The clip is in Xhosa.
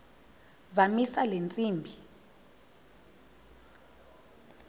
zamisa le ntsimbi